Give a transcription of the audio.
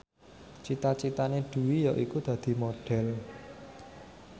cita citane Dwi yaiku dadi Modhel